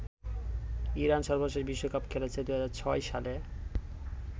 Iran সর্বশেষ বিশ্বকাপ খেলেছে ২০০৬ সালে।